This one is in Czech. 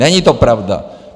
Není to pravda.